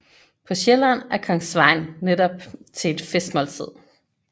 På Sjælland er kong Sveinn netop til et festmåltid